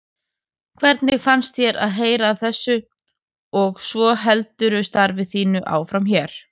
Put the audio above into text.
Hvernig fannst þér að heyra af þessu og svo heldurðu starfi þínu áfram hér?